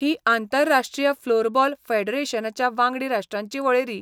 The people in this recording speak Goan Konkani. ही आंतरराष्ट्रीय फ्लोरबॉल फॅडरेशनाच्या वांगडी राष्ट्रांची वळेरी.